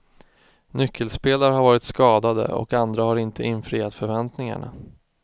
Nyckelspelare har varit skadade och andra har inte infriat förväntningarna.